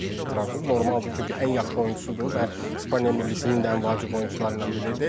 Normaldır, çünki ən yaxşı oyunçusudur və İspaniya millisinin də ən vacib oyunçularından biridir.